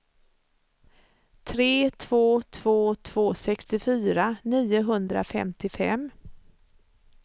tre två två två sextiofyra niohundrafemtiofem